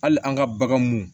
Hali an ka bagan mun